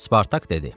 Spartak dedi: